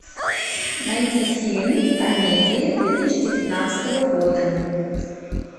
найди фильм комедии две тысячи девятнадцатого года